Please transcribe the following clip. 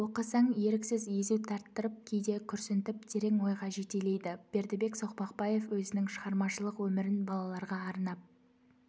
оқысаң еріксіз езу тарттырып кейде күрсінтіп терең ойға жетелейді бердібек соқпақбаев өзінің шығармашылық өмірін балаларға арнап